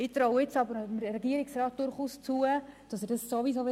Ich traue dem Regierungsrat aber durchaus zu, dass er es so oder so tun wird.